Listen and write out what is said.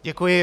Děkuji.